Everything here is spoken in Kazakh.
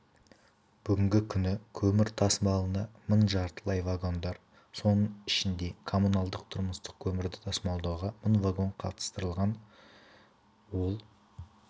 бүгінгі күні көмір тасымалына мың жартылай вагондар соның ішінде коммуналдық-тұрмыстық көмірді тасымалдауға мың вагон қатыстырылған ол